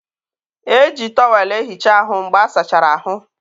e ji tọwel ehicha ahụ mgbe a sachara ahụ.